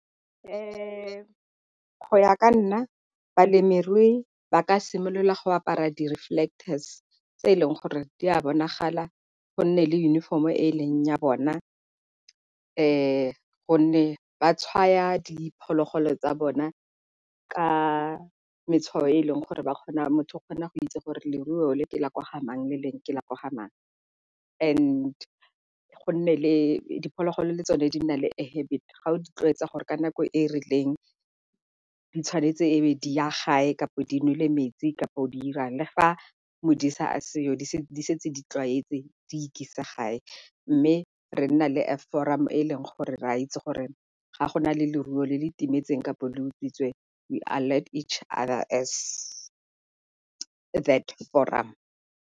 Go ya ka nna balemirui ba ka simolola go apara di-reflectors tse e leng gore di a bonagala go nne le uniform-o e leng ya bona, gonne ba tshwaya diphologolo tsa bona ka metshwao e e leng gore ba kgona motho o kgona go itse gore leruo le ke la kwa ga mang le lengwe ke le kwa ga mang. And go nne le diphologolo le tsone di na le a habit ga o di tlwaetsa gore ka nako e e rileng di tshwanetse e be di ya gae, kapo di nole metsi kapo o di irang le fa modisa a seo di setse di tlwaetse di ikisa gae. Mme re nna le a forum e e leng gore re a itse gore ga go na le leruo le le timetseng kapo le utswitswe we alert each other as that forum.